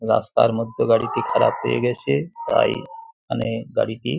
রাস্তার মধ্যে গাড়িটি খারাপ হয়ে গেছে তাই মানে গাড়িটি --